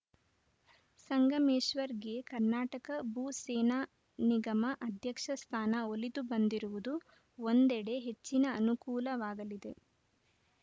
ಸಂಗಮೇಶ್ವರ್‌ಗೆ ಕರ್ನಾಟಕ ಭೂ ಸೇನಾ ನಿಗಮ ಅಧ್ಯಕ್ಷ ಸ್ಥಾನ ಒಲಿದು ಬಂದಿರುವುದು ಒಂದೆಡೆ ಹೆಚ್ಚಿನ ಅನುಕೂಲವಾಗಲಿದೆ